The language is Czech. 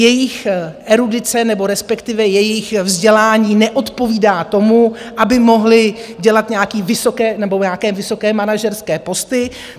Jejich erudice nebo respektive jejich vzdělání neodpovídá tomu, aby mohli dělat nějaké vysoké manažerské posty.